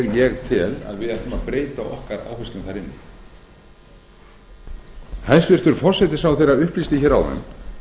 ég tel að við ættum að breyta okkar áherslum þar inni hæstvirtur forsætisráðherra upplýsti áðan